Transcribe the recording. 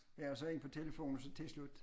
Ja og så ind på telefon og så tilslut